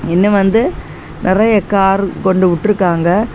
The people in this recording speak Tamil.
இன்னும் வந்து நிறைய கார் கொண்டுவிட்ருக்காங்க.